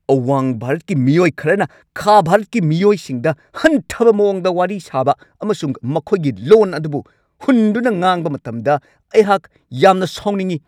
ꯑꯋꯥꯡ ꯚꯥꯔꯠꯀꯤ ꯃꯤꯑꯣꯏ ꯈꯔꯅ ꯈꯥ ꯚꯥꯔꯠꯀꯤ ꯃꯤꯑꯣꯏꯁꯤꯡꯗ ꯍꯟꯊꯕ ꯃꯋꯣꯡꯗ ꯋꯥꯔꯤ ꯁꯥꯕ ꯑꯃꯁꯨꯡ ꯃꯈꯣꯏꯒꯤ ꯂꯣꯟ ꯑꯗꯨꯕꯨ ꯍꯨꯟꯗꯨꯅ ꯉꯥꯡꯕ ꯃꯇꯝꯗ ꯑꯩꯍꯥꯛ ꯌꯥꯝꯅ ꯁꯥꯎꯅꯤꯡꯉꯤ ꯫